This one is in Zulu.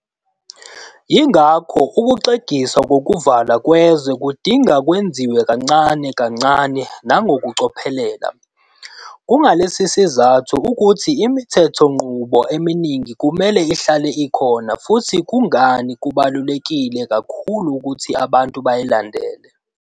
Yingakho ukuxegiswa kokuvalwa kwezwe kudinga kwenziwe kancane kancane nangokucophelela. Kungalesi sizathu ukuthi imithethonqubo eminingi kumele ihlale ikhona futhi kungani kubalulekile kakhulu ukuthi abantu bayilandele.